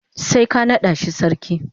sai ka nada shi sarki.